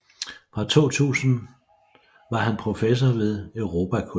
Fra 2000 var han professor ved Europakollegiet